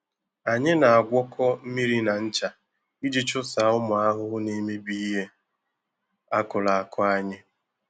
Anyị na-agwọkọ mmiri na ncha iji chụsaa ụmụ ahụhụ na-emebi ihe akụrụ akụ anyị.